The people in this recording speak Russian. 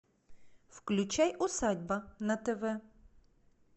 включай усадьба на тв